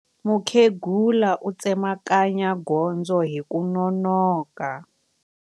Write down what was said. Mukhegula u tsemakanya gondzo hi ku nonoka.